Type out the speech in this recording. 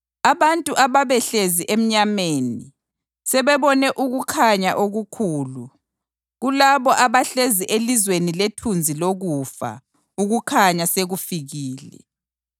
abantu ababehlezi emnyameni sebebone ukukhanya okukhulu; kulabo abahlezi elizweni lethunzi lokufa, ukukhanya sekufikile.” + 4.16 U-Isaya 9.1-2